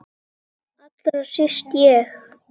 Allra síst ég!